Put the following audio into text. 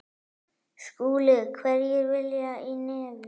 SKÚLI: Hverjir vilja í nefið.